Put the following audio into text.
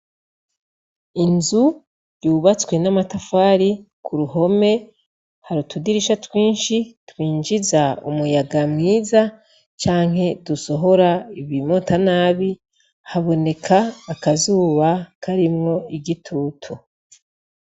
Inzu yubatswe n' amatafari , ku ruhome hari utudirisha twinshi twinjiza umuyaga mwiza canke dusohora ibimota nabi, haboneka akazuba karimwo igitutu.